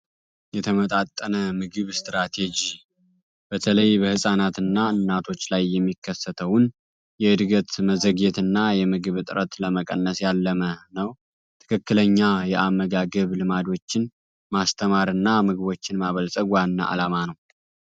የተመጣጠነ ምግብ ስትራቴጂ በተለይ በህጻናትና እናቶች ላይ የሚከሰተውን የእድገትና የምግብ እጥረት ለመቀነስ ያለመ ነው ትክክለኛ የአመጋገብ ልማዶችን ማስተማርና ምግቦችን ማበልፀግዋና ዓላማ ነው።